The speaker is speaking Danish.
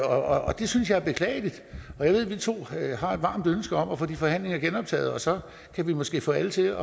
og det synes jeg er beklageligt jeg ved at vi to har et varmt ønske om at få de forhandlinger genoptaget og så kan vi måske få alle til